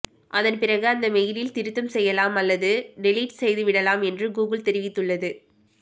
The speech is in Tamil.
அதன் பிறகு அந்த மெயிலில் திருத்தம் செய்யலாம் அல்லது டெலிட் செய்துவிடலாம் என்று கூகுள் தெரிவித்துள்ளது